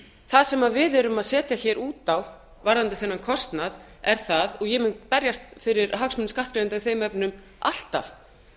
það sem við erum að setja hér út á varðandi þennan kostnað er það og ég mun berjast fyrir hagsmunum skattgreiðenda í þeim efnum alltaf